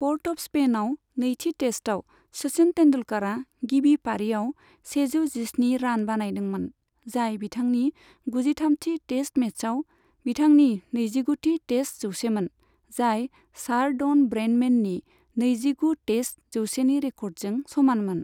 Port of स्पेइनाव नैथि टेस्टआव, सचिन तेंदुलकरा गिबि पारीआव सेजौ जिस्नि रान बानायदोंमोन, जाय बिथांनि गुजिथामथि टेस्ट मेचआव बिथांनि नैजिगुथि टेस्ट जौसेमोन, जाय सार ड'न ब्रैडमैननि नैजिगु टेस्ट जौसेनि रेक'र्डजों समानमोन।